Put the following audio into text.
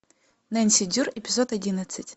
нэнси дрю эпизод одиннадцать